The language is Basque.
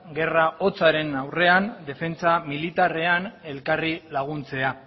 gerra hotzaren aurrean defentsa militarrean elkarri laguntzea